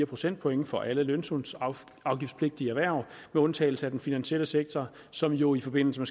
procentpoint for alle lønsumsafgiftspligtige erhverv med undtagelse af den finansielle sektor som jo i forbindelse